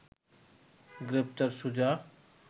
গ্রেপ্তার সুজা